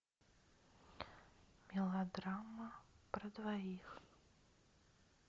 мелодрама про двоих